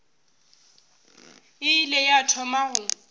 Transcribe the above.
e ile ya thoma go